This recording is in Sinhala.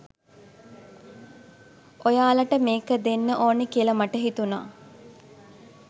ඔයාලට මේක දෙන්න ඕන කියල මට හිතුන.